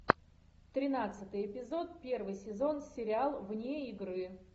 тринадцатый эпизод первый сезон сериал вне игры